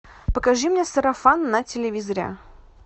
покажи мне сарафан на телевизоре